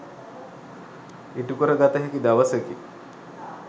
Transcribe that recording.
ඉටුකර ගත හැකි දවසකි.